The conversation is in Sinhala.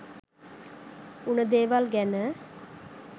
උන දේවල් ගැන